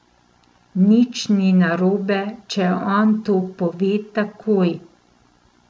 Nič ni narobe, če on to pove takoj.